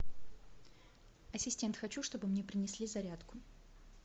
ассистент хочу чтобы мне принесли зарядку